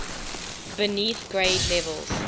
beneath grade levels